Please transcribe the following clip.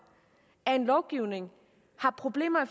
at en lovgivning har problemer